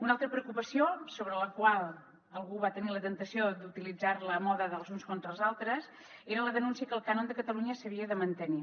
una altra preocupació que algú va tenir la temptació d’utilitzar la a mode dels uns contra els altres era la denúncia que el cànon de catalunya s’havia de mantenir